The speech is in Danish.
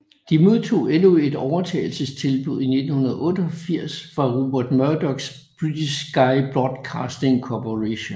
De modtog endnu et overtagelsestilbud i 1998 fra Rupert Murdochs British Sky Broadcasting Corporation